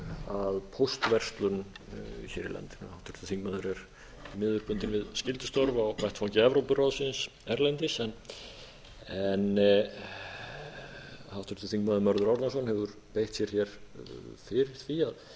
að póstverslun hér í landinu háttvirtur þingmaður er því miður bundinn við skyldustörf á vettvangi evrópuráðsins erlendis háttvirtur þingmaður mörður árnason hefur beitt sér hér fyrir því